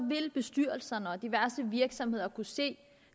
vil bestyrelserne og diverse virksomheder kunne se at